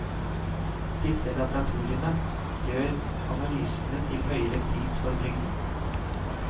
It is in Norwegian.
Disse laboratoriene gjør analysene til høyere pris for trygden.